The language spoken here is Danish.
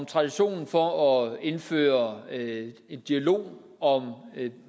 traditionen for at indføre en dialog om